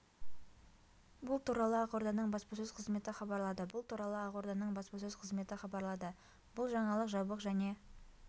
бұл туралы ақорданың баспасөз қызметі хабарлады бұл туралы ақорданың баспасөз қызметі хабарлады бұл жаңалық жабық және